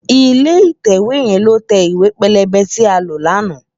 Ilé itèwé yèn ló tè iwé pélébé ti á ló làná